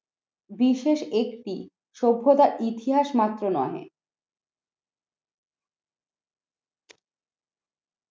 বিশেষ একটি সভ্যতা ইতিহাস মাত্র নয়।